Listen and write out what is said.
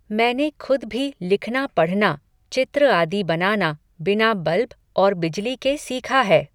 मैंने खुद भी लिखना पढ़ना, चित्र आदि बनाना, बिना बल्ब, और बिजली के सीखा है